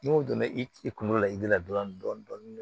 N'o donna i kunkolo la i la dɔɔnin dɔɔnin